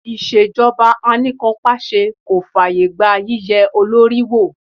Ìṣèjọba anìkànpàse kò fàyè gba yíye olórí wò.